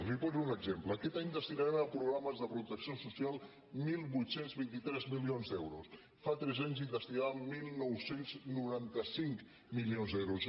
li poso un exemple aquest any destinarem a programes de protecció social divuit vint tres milions d’euros fa tres anys hi destinàvem dinou noranta cinc milions d’euros